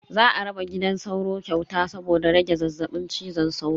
Za a raba gidan sauro kyauta saboda rage zazzabin cizon sauro.